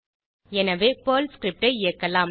எனவே Perl script ஐ இயக்கலாம்